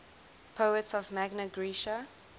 poets of magna graecia